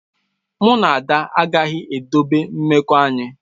Mụ na Ada agaghị ezobe mmekọ anyị.